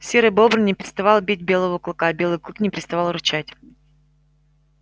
серый бобр не переставал бить белого клыка белый клык не переставал рычать